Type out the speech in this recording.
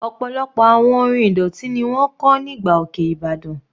Ọ̀pọ̀lọpọ̀ àwọn orin ìdọ̀tí ni wọ́n kọ́ nígbà òkè ìbàdàn.